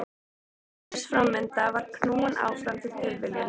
Öll heimsins framvinda var knúin áfram af tilviljunum.